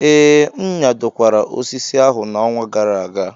Ee, m nyadokwara osisi ahụ n'ọnwa gara aga.